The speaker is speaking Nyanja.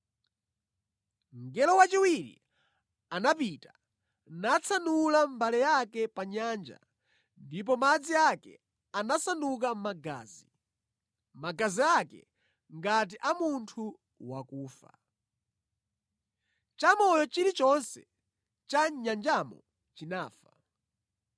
Mngelo wachiwiri anapita natsanula mbale yake pa nyanja ndipo madzi ake anasanduka magazi, magazi ake ngati a munthu wakufa. Chamoyo chilichonse cha mʼnyanjamo chinafa.